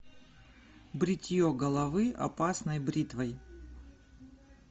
бритье головы опасной бритвой